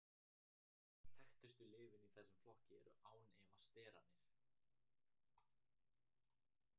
Þekktustu lyfin í þessum flokki eru án efa sterarnir.